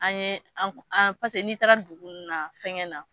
An ye an an paseke n'i taara dugu ninnu na fɛnkɛ na